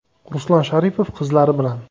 Ruslan Sharipov qizlari bilan.